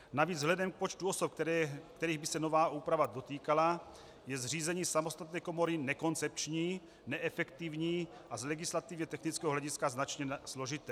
Navíc vzhledem k počtu osob, kterých by se nová úprava dotýkala, je zřízení samostatné komory nekoncepční, neefektivní a z legislativně technického hlediska značně složité.